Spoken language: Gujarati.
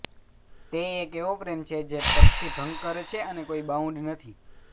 તે એક એવો પ્રેમ છે જે તર્કથી ભંગ કરે છે અને કોઈ બાઉન્ડ્સ નથી